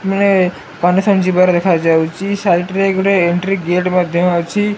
May condition ଯିବାର ଦେଖାଯାଉଛି side ରେ ଗୋଟେ ଏଣ୍ଟ୍ରି ଗେଟ୍ ମଧ୍ୟ ଅଛି।